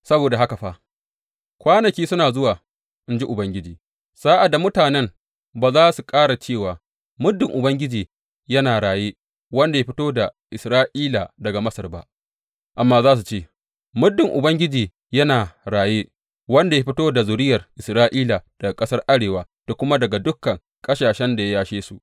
Saboda haka fa, kwanaki suna zuwa, in ji Ubangiji, sa’ad da mutanen ba za su ƙara cewa, Muddin Ubangiji yana raye, wanda ya fito da Isra’ila daga Masar ba,’ amma za su ce, Muddin Ubangiji yana raye, wanda ya fito da zuriyar Isra’ila daga ƙasar arewa da kuma daga dukan ƙasashen da ya yashe su.’